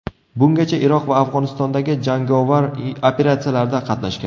Bungacha Iroq va Afg‘onistondagi jangovar operatsiyalarda qatnashgan.